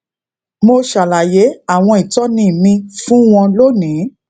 mo ṣàlàyé àwọn ìtóni mi fún wọn lónìí